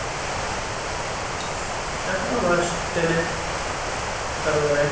এখনও মাস তিনেক তারপরে।